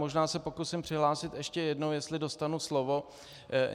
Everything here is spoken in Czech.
Možná se pokusím přihlásit ještě jednou, jestli dostanu slovo.